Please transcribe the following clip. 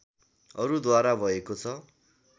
अरू द्वारा भएको छ